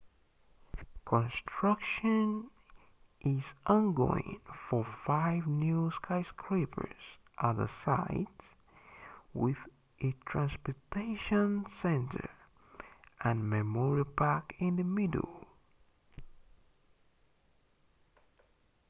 construction is ongoing for five new skyscrapers at the site with a transportation center and memorial park in the middle